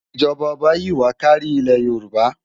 ijọba oba yi wá kàri Ile-yórùbá